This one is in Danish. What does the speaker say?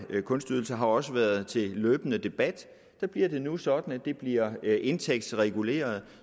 kunstydelser har også været til løbende debat der bliver nu sådan at det bliver indtægtsreguleret